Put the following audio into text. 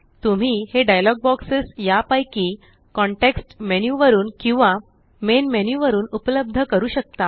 तुम्ही हे dialogue boxes या पैकी कॉन्टेक्स्ट मेन्यु वरून किंवा मेन मेनू मेन्यु वरून उपलब्ध करू शकता